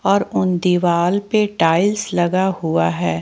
और दीवाल पे टाइल्स लगा हुआ है।